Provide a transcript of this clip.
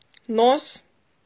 нос